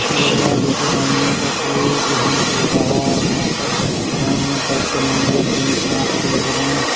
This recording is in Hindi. ऐसा लग रहा है जैसे ज्ञानियों का कोई बिधान चल रहा है यहाँ पर ज्ञानियों टाइप मंदिर जैन समाज के लग रहे हैं।